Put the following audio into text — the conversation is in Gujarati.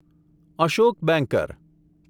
અશોક બેંકર